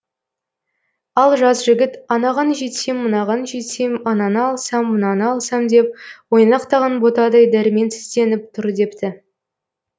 ал жас жігіт анаған жетсем мынаған жетсем ананы алсам мынаны алсам деп ойнақтаған ботадай дәрменсізденіп тұр депті